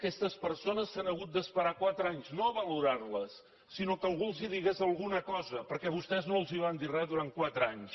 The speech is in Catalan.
aquestes persones s’han hagut d’esperar quatre anys no a valorar·les sinó que algú els digués alguna cosa perquè vostès no els van dir re durant quatre anys